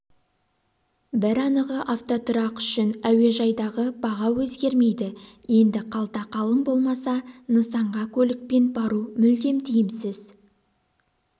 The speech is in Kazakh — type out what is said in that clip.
бір анығы автотұрақ үшін әуежайдағы баға өзгермейді енді қалта қалың болмаса нысанға көлікпен бару мүлдем тиімсіз